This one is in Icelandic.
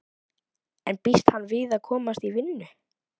En býst hann við að komast í vinnu?